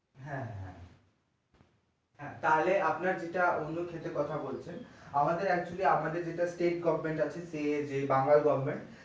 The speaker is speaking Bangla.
হ্যাঁ হ্যাঁ তাহলে আপনার যেটা অন্য ক্ষেতের কোথা বলছেন আমাদের actually আমাদের যেটা state government আছে সেচ এ বাংলা government